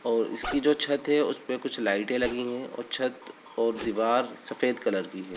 और इसकी जो छत है। उसपे कुछ लाइटें लगी हैं और छत और दीवार सफ़ेद कलर की है।